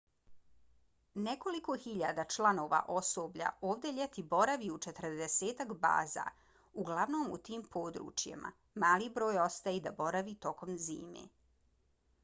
nekoliko hiljada članova osoblja ovdje ljeti boravi u četrdesetak baza uglavnom u tim područjima; mali broj ostaje da boravi tokom zime